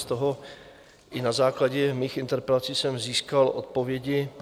Z toho i na základě mých interpelací jsem získal odpovědi.